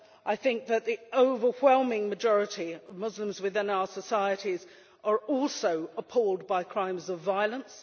I think that the overwhelming majority of Muslims within our societies are also appalled by crimes of violence.